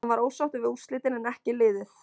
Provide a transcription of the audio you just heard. Hann var ósáttur við úrslitin en en ekki liðið.